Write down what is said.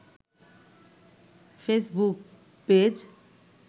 Facebook page